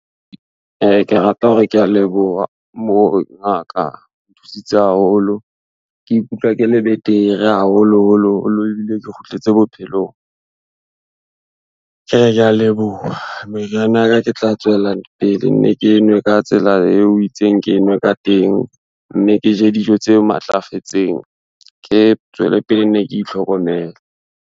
Ke rata hore kea leboha ngaka, o nthusitse haholo. Ke ikutlwa ke le betere haholoholoholo ebile ke kgutletse bophelong. Kea leboha meriana ya ka, ke tla tswela pele ne ke nwe ka tsela eo o itseng ke nwe ka teng, mme ke je dijo tse matlafetseng, ke tswele pele ne ke itlhokomele.